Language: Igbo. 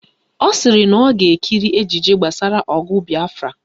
Ọ sịrị na ọ ga-ekiri ejije gbasara ọgụ Bịafra